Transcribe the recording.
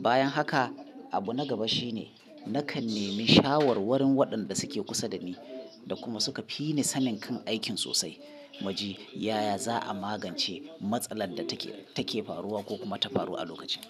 Bayan haka, abu na gaba shine nakan nemi shawarwarin waɗanda suke kusa da ni da kuma suka fi ni sanin kan aikin sosai, mu ji yaya za a magance matsalar da take faruwa ko kuma ta faru a lokacin.